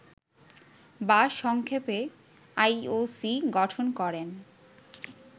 বা সংক্ষেপে আইওসি গঠন করেন